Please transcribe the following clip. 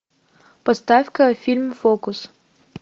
поставь ка фильм фокус